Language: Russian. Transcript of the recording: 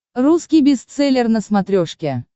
русский бестселлер на смотрешке